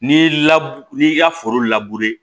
N'i la n'i y'i ka foro